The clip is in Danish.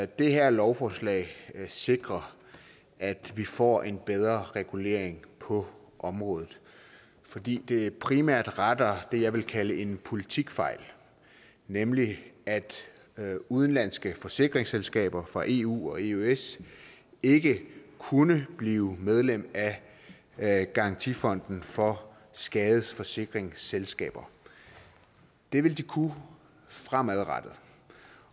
det her lovforslag sikrer at vi får en bedre regulering på området fordi det primært retter det jeg vil kalde en politikfejl nemlig at at udenlandske forsikringsselskaber fra eu og eøs ikke kunne blive medlem af garantifonden for skadesforsikringsselskaber det vil de kunne fremadrettet